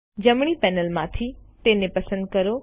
જમણી પેનલમાંથી તેને પસંદ કરો